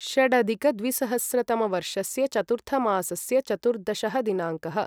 षडधिकद्विसहस्रतमवर्षस्य चतुर्थमासस्य चतुर्दशः दिनाङ्कः